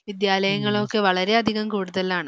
വിദ്യാലയങ്ങളും ഒക്കെ വളരെയധികം കൂടുതലാണ്.